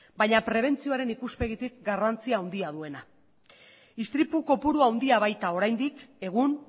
baina prebentzioaren ikuspegitik garrantzi handia duena istripu kopuru handia baita oraindik egun